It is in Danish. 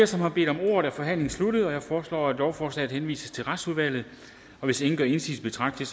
som har bedt om ordet er forhandlingen sluttet jeg foreslår at lovforslaget henvises til retsudvalget hvis ingen gør indsigelse betragter